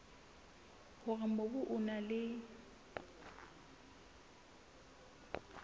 hore mobu o na le